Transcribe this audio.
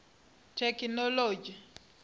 thekinoḽodzhi